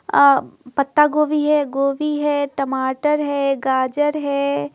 आ पत्ता गोभी है गोभी है टमाटर है गाजर है।